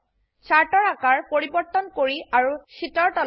চাৰ্টৰ আকাৰ পৰিবৰ্তন কৰি আৰু শীটৰ তললৈ সো কোণলৈ যাওক